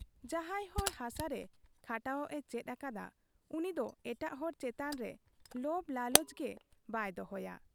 ᱡᱟᱦᱟᱸᱭ ᱦᱚᱲ ᱦᱟᱥᱟ ᱨᱮ ᱠᱷᱟᱴᱟᱣᱚᱜ ᱮ ᱪᱮᱫ ᱟᱠᱟᱫ ᱟ ᱩᱱᱤ ᱫᱚ ᱮᱴᱟᱜ ᱦᱚᱲ ᱪᱮᱛᱟᱱ ᱨᱮ ᱞᱚᱵᱽ ᱞᱟᱞᱚᱪ ᱜᱮ ᱵᱟᱭ ᱫᱚᱦᱚᱭᱟ ᱾